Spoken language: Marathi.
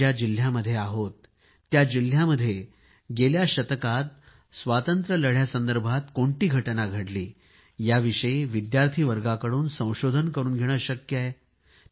आपण ज्या जिल्ह्यामध्ये आहे त्या जिल्ह्यामध्ये गेल्या शताब्दीमध्ये स्वातंत्र्य लढ्याविषयी कोणती घटना घडली याविषयी विद्यार्थी वर्गाकडून संशोधन करून घेणे शक्य आहे